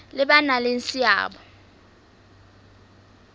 le ba nang le seabo